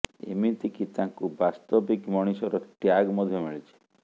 ଏମିତି କି ତାଙ୍କୁ ବାସ୍ତବିକ ମଣିଷର ଟ୍ୟାଗ ମଧ୍ୟ ମିଳିଛି